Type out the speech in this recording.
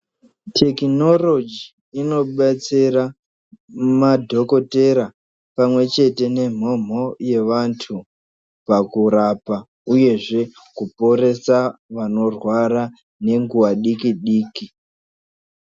Tekinoroji inobetsera madhokotera pamwe chete nemhomho yevantu. Pakurapa uyezve kuporesa vanorwara nenguva diki-diki.